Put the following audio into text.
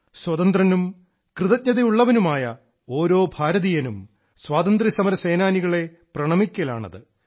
സ്വതന്ത്രനും കൃതജ്ഞതയുള്ളവനുമായ ഓരോ ഭാരതീയനും സ്വാതന്ത്ര്യസമര സേനാനികളെ പ്രണമിക്കലാണത്